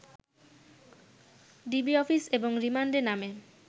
DB office এবং রিমান্ডের নামে